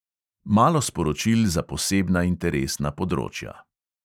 Malo sporočil za posebna interesna področja.